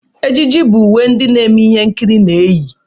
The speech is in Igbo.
Ejiji bụ uwe ndị na-eme ihe nkiri na-eyi.